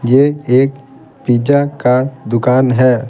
ये एक पिज़्ज़ा का दुकान है।